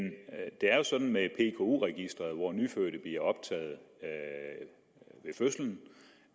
det er jo sådan med pku registeret hvor nyfødte bliver optaget ved fødslen